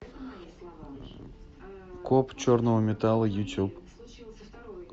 коп черного металла ютуб